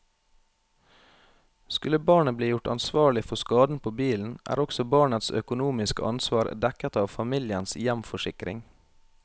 Skulle barnet bli gjort ansvarlig for skaden på bilen, er også barnets økonomiske ansvar dekket av familiens hjemforsikring.